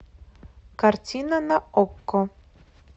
картина на окко